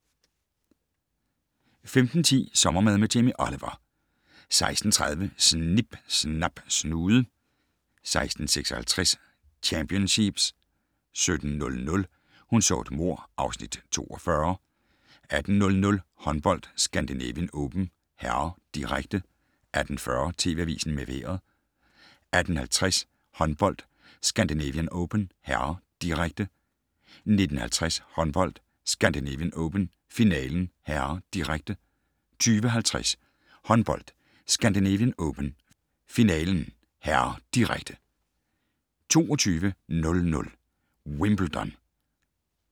15:10: Sommermad med Jamie Oliver 16:30: Snip Snap Snude 16:56: Championsheeps 17:00: Hun så et mord (Afs. 42) 18:00: Håndbold: Scandinavian Open (m), direkte 18:40: TV Avisen med Vejret 18:50: Håndbold: Scandinavian Open (m), direkte 19:50: Håndbold: Scandinavian Open, finalen (m), direkte 20:50: Håndbold: Scandinavian Open, finalen (m), direkte 22:00: Wimbledon